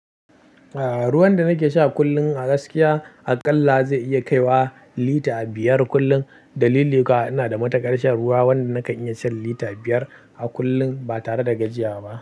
Ah, ruwan da nake sha kullum a gaskiya aƙalla zai iya kaiwa lita biyar kullum. Dalili kuwa ina da matukar shan ruwa wanda nakan iya shan lita biyar a kullum ba tare da gajiya ba.